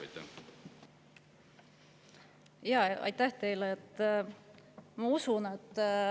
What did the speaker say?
Aitäh teile!